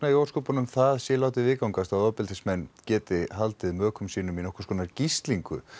í ósköpunum það sé látið viðgangast að ofbeldismenn geti haldið mökum sínum í nokkurs konar gíslingu